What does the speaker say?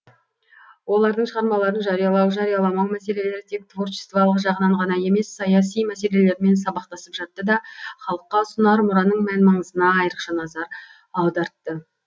олардың шығармаларын жариялау жарияламау мәселелері тек творчестволық жағынан ғана емес саяси мәселелермен сабақтасып жатты да халыққа ұсынар мұраның мән маңызына айрықша назар аудартты